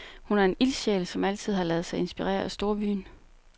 Hun er en ildsjæl, som altid har ladet sig inspirere af storbyen.